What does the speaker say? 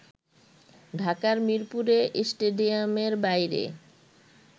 ঢাকার মীরপুরে স্টেডিয়ামের বাইরে